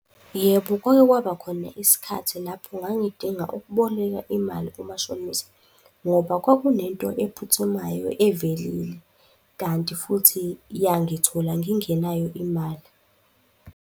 Yebo, kwake kwaba khona isikhathi lapho ngangidinga ukuboleka imali kumashonisa ngoba kwakunento ephuthumayo evelile kanti futhi yangithola ngingenayo imali.